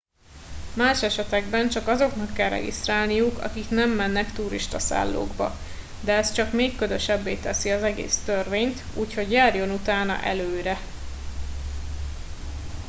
más esetekben csak azoknak kell regisztrálniuk akik nem mennek turistaszállókba de ez csak még ködösebbé teszi az egész törvényt úgyhogy járjon utána előre